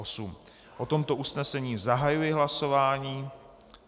O tomto usnesení zahajuji hlasování.